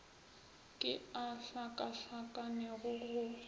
ke a a hlakahlakanego go